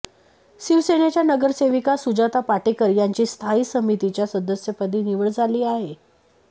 शिवसेनेच्या नगरसेविका सुजाता पाटेकर यांची स्थायी समितीच्या सदस्यपदी निवड झाली आहे